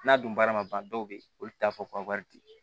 N'a dun baara ma ban dɔw be ye olu t'a fɔ ko wari te ye